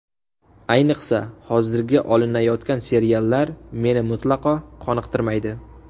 Ayniqsa, hozirgi olinayotgan seriallar meni mutlaqo qoniqtirmaydi.